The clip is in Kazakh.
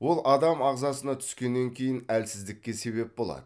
ол адам ағзасына түскеннен кейін әлсіздікке себеп болады